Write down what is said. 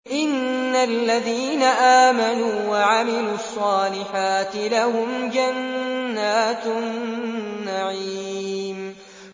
إِنَّ الَّذِينَ آمَنُوا وَعَمِلُوا الصَّالِحَاتِ لَهُمْ جَنَّاتُ النَّعِيمِ